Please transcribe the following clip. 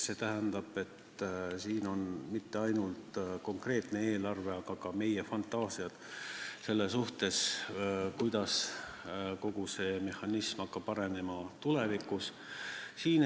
See tähendab, et siin ei ole silmas peetud mitte ainult konkreetset eelarvet, aga ka meie fantaasiaid selle kohta, kuidas kogu see mehhanism hakkab tulevikus arenema.